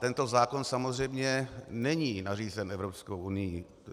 Tento zákon samozřejmě není nařízen Evropskou unií.